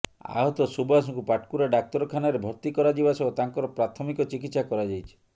ଆହତ ସୁବାସଙ୍କୁ ପାଟକୁରା ଡାକ୍ତରଖାନାରେ ଭର୍ତ୍ତି କରାଯିବା ସହ ତାଙ୍କର ପ୍ରାଥମିକ ଚିକିତ୍ସା କରାଯାଇଛି